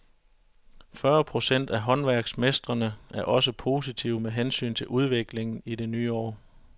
Fyrre procent af håndværksmestrene er også positive med hensyn til udviklingen i det nye år.